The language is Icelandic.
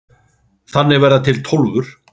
Þannig verða til Tólfur.